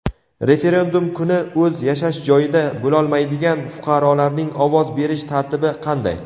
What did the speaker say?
Referendum kuni o‘z yashash joyida bo‘lolmaydigan fuqarolarning ovoz berish tartibi qanday?.